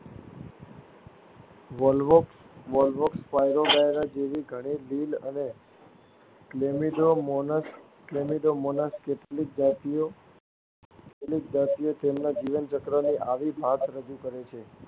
Volvox, volvox, spirogyra જેવી ઘણી લીલ અને ફ્લેમિડોમોનાસની કેટલીક જાતિઓ તેમના જીવનચક્રની આવી ભાત રજૂ કરે છે.